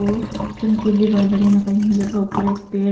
ओ चमकीली वाली लड़ाई तथा ऊपर एक पेड़--